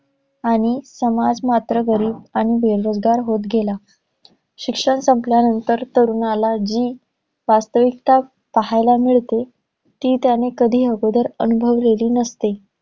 आणि समाज मात्र गरीब आणि बेरोजगार होत गेला. शिक्षण संपल्यानंतर, तरुणाला जी वास्तविकता पाहायला मिळते ती त्याने कधी आगोदर अनुभवलेली नसते.